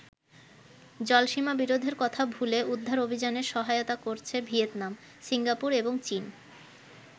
জলসীমা বিরোধের কথা ভুলে উদ্ধার অভিযানে সহায়তা করছে ভিয়েতনাম, সিঙ্গাপুর এবং চীন।